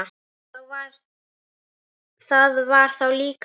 Það var þá líka líf!